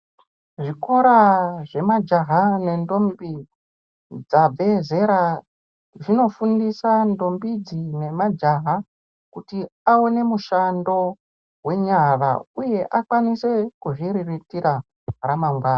Zvikora zvemajaha nendombi dzabvezera zvinofundisa ndombi idzi namajaha kuti awone mushando wenyara uye akwanise kuzviriritira ramangwani.